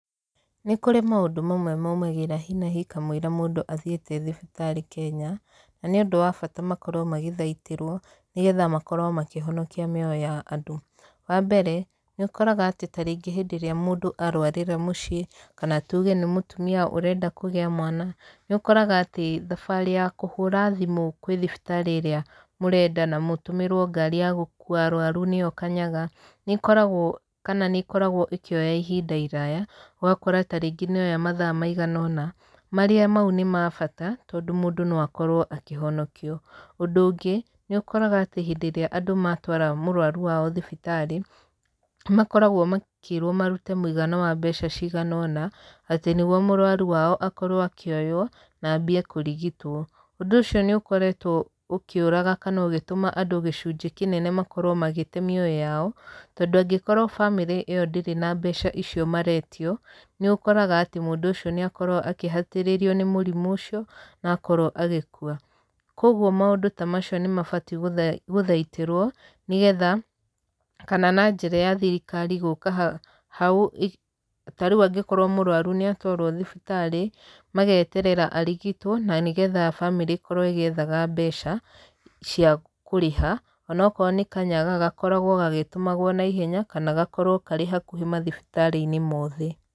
Nĩ kũrĩ maũndũ mamwe maumagĩra hi na hi kamũira mũndũ athiĩte thibitarĩ Kenya, na nĩ ũndũ wa bata makorwo magĩthaitĩrwo, nĩgetha makorwo makĩhonokia mĩoyo ya andũ. Wa mbere, nĩ ũkoraga atĩ ta rĩngĩ hĩndĩ ĩrĩa mũndũ arwarĩra mũciĩ, kana tuge nĩ mũtumia ũrenda kũgĩa mwana, nĩ ũkoraga atĩ, thabarĩ ya kũhũra thimũ kwĩ thibitarĩ ĩrĩa mũrenda, na mũtũmĩrwo ngari ya gũkuua arũaru nĩyo kanyaga, nĩ ĩkoragwo kana nĩ ĩkoragwo ĩkĩoya ihinda iraaya, ũgakora tarĩngĩ nĩ yoya mathaa maigana ũna, marĩa mau nĩ ma bata, tondũ mũndũ akorwo akĩhonokio. Ũndũ ũngĩ, nĩ ũkoraga atĩ hĩndĩ ĩrĩa andũ matwara mũrũaru wao thibitarĩ, makoragwo makĩĩrwo marute mũigana wa mbeca cigana ũna, atĩ nĩguo mũrwaru wao akorwo akĩoywo, na ambie kũrigitwo. Ũndũ ũcio nĩ ũkoretwo ũkĩũraga kana ũgĩtũma andũ gĩcunjĩ kĩnene makorwo magĩte mĩoyo yao, tondũ angĩkorwo bamĩrĩ ĩyo ndĩrĩ na mbeca icio maretio, nĩ ũkoraga atĩ mũndũ ũcio nĩ akorwo akĩhatĩrĩrio nĩ mũrimũ ũcio, na akorwo agĩkua. Koguo maũndũ ta macio nĩ mabatiĩ gũthaitĩrwo, nĩgetha kana na njĩra ya thirikari gũũka hau, ta rĩu angĩkorwo mũrũaru nĩ atwarwo thibitarĩ, mageterera arigitwo, na nĩgetha bamĩrĩ ĩkorwo ĩgĩethaga mbeca cia kũrĩha, onokorwo nĩ kanyaga gakoragwo gagĩtũmagwo na ihenya, kana gakorwo karĩ hakuhĩ mathibitarĩ-inĩ mothe.